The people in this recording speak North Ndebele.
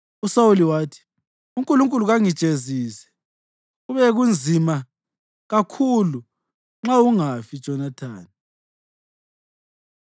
USawuli wathi, “UNkulunkulu kangijezise, kube nzima kakhulu, nxa ungafi, Jonathani.”